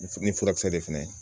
Ni furakisɛ de fɛnɛ